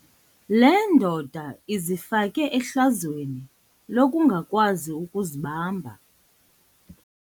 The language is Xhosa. Le ndoda izifake ehlazweni lokungakwazi ukuzibamba.